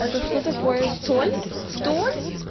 это что такое столь столь